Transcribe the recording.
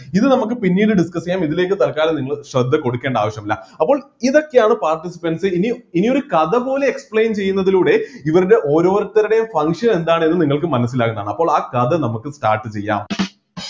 ഇത് നമ്മക്ക് പിന്നീട് discuss ചെയ്യാം ഇതിലേക്ക് തൽക്കാലം നിങ്ങൾ ശ്രദ്ധ കൊടുക്കേണ്ട ആവശ്യമില്ല അപ്പോൾ ഇതൊക്കെയാണ് participants ഇനി ഇനിയൊരു കഥ പോലെ explain ചെയ്യുന്നതിലൂടെ ഇവരുടെ ഓരോരുത്തരുടെയും function എന്താണെന്ന് നിങ്ങൾക്ക് മനസ്സിലാകുന്നതാണ് അപ്പോൾ ആ കഥ നമുക്ക് start ചെയ്യാം